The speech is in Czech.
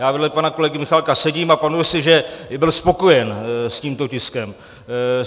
Já vedle pana kolegy Michálka sedím a pamatuji si, že byl spokojen s tímto tiskem.